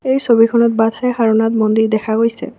এই ছবিখনত ৱাটথাই সাৰোনাথ মন্দিৰ দেখা গৈছে।